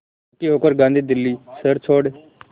दुखी होकर गांधी दिल्ली शहर छोड़